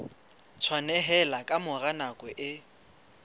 tshwaneleha ka mora nako e